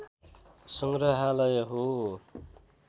सङ्ग्रहालय हो